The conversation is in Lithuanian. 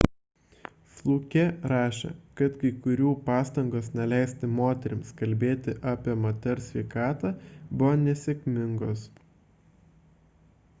fluke rašė kad kai kurių pastangos neleisti moterims kalbėti apie moters sveikatą buvo nesėkmingos